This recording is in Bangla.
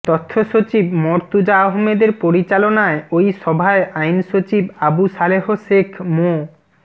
তথ্য সচিব মরতুজা আহমদের পরিচালনায় ওই সভায় আইন সচিব আবু সালেহ শেখ মো